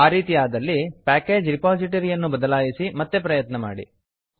ಆ ರೀತಿ ಆದಲ್ಲಿ ಪ್ಯಾಕೇಜ್ ರಿಪಾಸಿಟರಿ ಅನ್ನು ಬದಲಾಯಿಸಿ ಮತ್ತೆ ಪ್ರಯತ್ನ ಮಾಡಿ